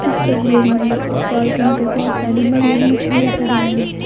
इस तस्वीर में एक पॉलिथीन पर बहुत सारी मरी हुई मछलियां पड़ी हुई हैं।